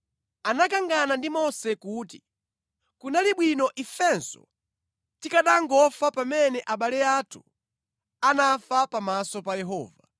Anakangana ndi Mose kuti, “Kunali bwino ifenso tikanangofa pamene abale athu anafa pamaso pa Yehova!